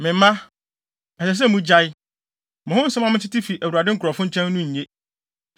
Me mma, ɛsɛ sɛ mugyae! Mo ho nsɛm a metete fi Awurade nkurɔfo nkyɛn no nye.